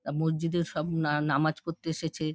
আ মসজিদ সব না নামাজ পড়তে এসেছে।